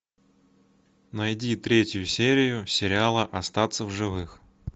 найди третью серию сериала остаться в живых